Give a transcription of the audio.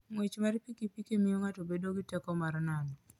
Ng'wech mar pikipiki miyo ng'ato bedo gi teko mar nano.